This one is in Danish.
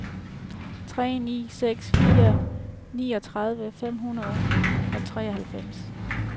tre ni seks fire niogtredive fem hundrede og treoghalvtreds